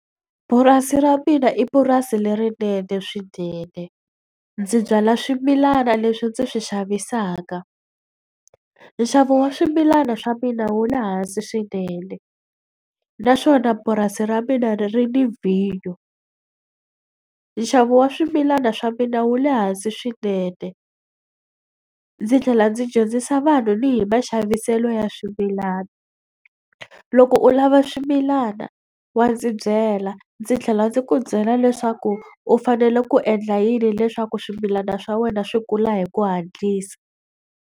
Purasi ra mina i purasi lerinene swinene. Ndzi byala swimilana leswi ndzi swi xavisaka. Nxavo wa swimilana swa mina wu le hansi swinene, naswona purasi ra mina ri ri ni vhinyo. Nxavo wa swimilana swa mina wu le hansi swinene, ndzi tlhela ndzi dyondzisa vanhu ni hi maxaviselo ya swimilana. Loko u lava swimilana wa ndzi byela ndzi tlhela ndzi ku byela leswaku u fanele ku endla yini leswaku swimilana swa wena swi kula hi ku hatlisa.